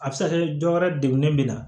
A bɛ se ka kɛ dɔ wɛrɛ degunnen b'i la